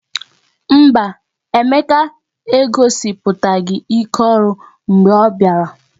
Mba, Emeka egosipụtaghị ike ọrụ mgbe ọ bịara